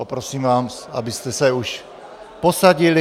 Poprosím vás, abyste se už posadili.